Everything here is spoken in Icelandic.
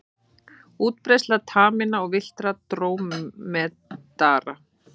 Útbreiðsla taminna og villtra drómedara.